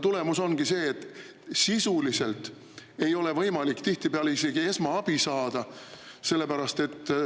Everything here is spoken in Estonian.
Tulemus ongi see, et sisuliselt ei ole võimalik tihtipeale isegi esmaabi saada.